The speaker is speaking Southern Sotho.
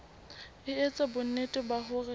e etsa bonnete ba hore